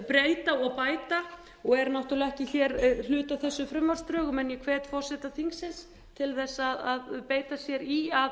breyta og bæta og er náttúrlega ekki hér hluti af þessum frumvarpsdrögum en ég hvet forseta þingsins til þess að beita sér í að